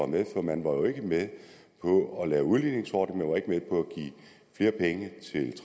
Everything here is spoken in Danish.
med for man var jo ikke med på at lave udligningsordninger man var ikke med på at give flere penge